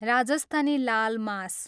Rajasthani laal मास